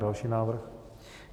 Další návrh.